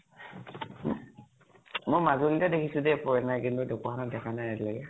মই মাজুলিত হে দেখিছো দে foreigner, কিন্তু ঢ্কুৱাখানাত দেখা নাই এতিয়ালৈকে।